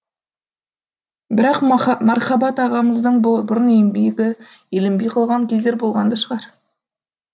бірақ мархабат ағамыздың бұрын еңбегі еленбей қалған кездер болған да шығар